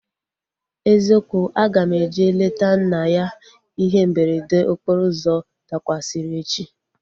Eziokwu, aga m eje leta nna ya ihe mberede okporo ụzọ dakwasịrị echi